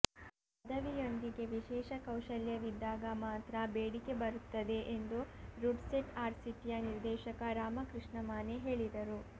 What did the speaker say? ಪದವಿಯೊಂದಿಗೆ ವಿಶೇಷ ಕೌಶಲ್ಯವಿದ್ದಾಗ ಮಾತ್ರ ಬೇಡಿಕೆ ಬರುತ್ತದೆ ಎಂದು ರುಡ್ಸೆಟ್ ಆರ್ಸಿಟಿಯ ನಿರ್ದೇಶಕ ರಾಮಕೃಷ್ಣ ಮಾನೆ ಹೇಳಿದರು